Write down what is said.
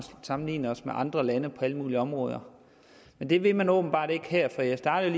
sammenligne os med andre lande på alle mulige områder men det vil man åbenbart ikke her for jeg startede